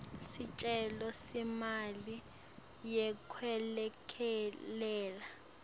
sicelo semali yekwelekelela